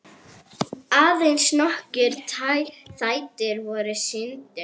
Aðeins nokkrir þættir voru sýndir.